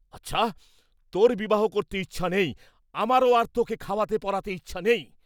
আচ্ছা তোর বিবাহ করতে ইচ্ছা নেই, আমারও আর তোকে খাওয়াতে পরাতে ইচ্ছা নেই।